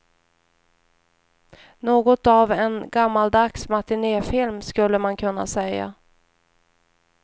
Något av en gammaldags matinefilm skulle man kunna säga.